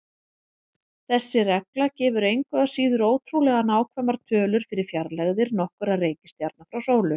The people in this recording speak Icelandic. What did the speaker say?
Þessi regla gefur engu að síður ótrúlega nákvæmar tölur fyrir fjarlægðir nokkurra reikistjarna frá sólu.